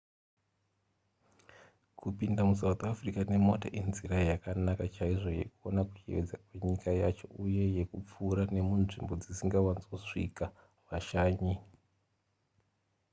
kupinda musouth africa nemota inzira yakanaka chaizvo yekuona kuyevedza kwenyika yacho uye yekupfuura nemunzvimbo dzisingawanzosvika vashanyi